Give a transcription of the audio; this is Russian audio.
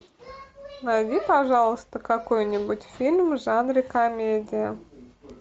найди пожалуйста какой нибудь фильм в жанре комедия